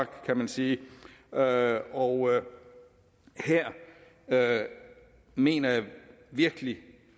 kan man sige og og her mener jeg virkelig at